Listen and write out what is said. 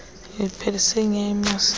uyiphelise nya imasisi